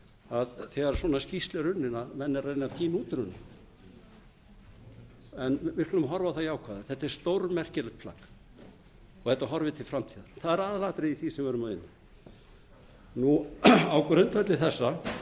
að þegar svona skýrsla er unnin eru menn að reyna að tína út úr henni en við skulum horfa á það jákvæða þetta er stórmerkilegt plagg og þetta horfir til framtíðar og það er aðalatriðið í því sem við erum að ræða á grundvelli þessa og